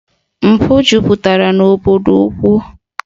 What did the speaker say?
Mpụ jupụtara n'obodo ukwu